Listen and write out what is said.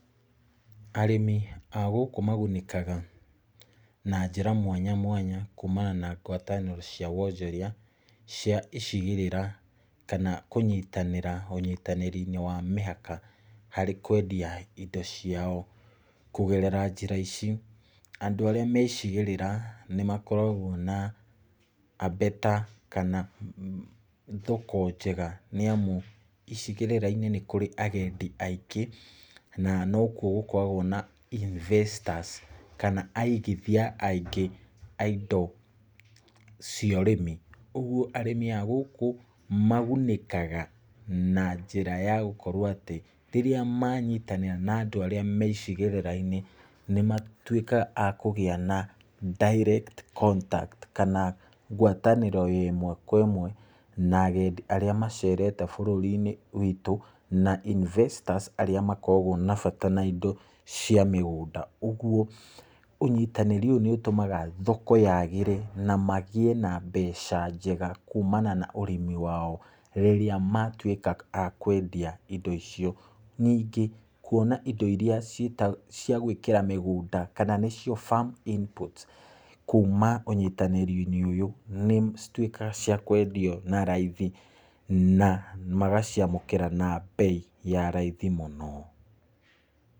Arĩmi a gũkũ magunĩkaga na njĩra mwanya mwanya kuumana na ngwatanĩro cia wonjoria, cia icigĩrĩra kana kũnyitanĩra ũnyitanĩri-inĩ wa mĩhaka harĩ kwendia indo ciao, kũgerera njĩra ici. Andũ arĩa me icigĩrĩra, nĩ makoragwo na a better kana thoko njega, nĩamu, icigĩrĩra-inĩ nĩkũrĩ agendi aingĩ, na nokuo gũkoragwo na investors kana aigithia aingĩ a indo cia ũrĩmi. Ũguo, arĩmi a gũkũ, magunĩkaga na njĩra ya gũkorwo atĩ, rĩrĩa manyitanĩra na andũ arĩa meicigĩrĩra-inĩ, nĩmatuĩkaga a kũgĩa na dĩrect contact, kana ngwatanĩro ĩmwe kwa ĩmwe na agendi arĩa macerete bũrũri-inĩ witũ, na investors arĩa makoragwo na bata na indo cia mĩgũnda. Ũguo, ũnyitanĩri ũyũ nĩũtũmaga thoko yagĩre naagĩe na mbeca njega kuumana na ũrĩmi wao rĩrĩa matuĩka a kwendia indo icio. Ningĩ, kwona indo iria cia gũĩkĩra mũgũnda, kana nĩcio farm imputs, kuuma ũnyitanĩri-inĩ ũyũ, nĩ ũtuĩkaga cia kwendio na raithi na magaciamũkĩra na mbei ya raithi mũno.